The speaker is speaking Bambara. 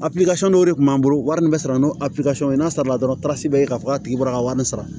Abi kasi dɔw de kun b'an bolo wari min bɛ sɔrɔ n'o a n'a sara dɔrɔn tas bɛ k'a fɔ k'a tigi bɔra ka wari sara